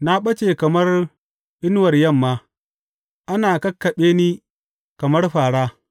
Na ɓace kamar inuwar yamma; ana kakkaɓe ni kamar fāra.